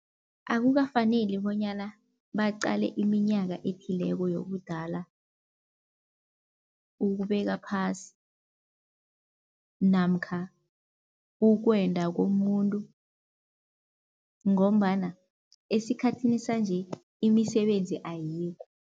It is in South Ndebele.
Akukafaneli bonyana baqale iminyaka ethileko yobudala, ukubeka phasi namkha ukwenda komuntu ngombana esikhathini sanje imisebenzi ayikho.